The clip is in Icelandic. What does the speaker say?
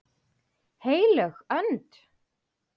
HEILÖG ÖND